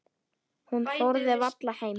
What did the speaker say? Hún þorði varla heim.